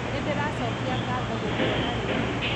Nĩndĩracokia ngatho gũkũona rĩngĩ